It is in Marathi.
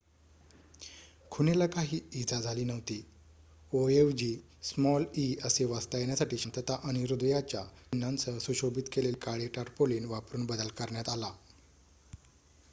"खुणेला काही इजा झाली नव्हती; "o" ऐवजी स्मॉल "e" असे वाचता येण्यासाठी शांतता आणि हृदयाच्या चिन्हांसह सुशोभित केलेले काळे टार्पोलीन वापरून बदल करण्यात आला.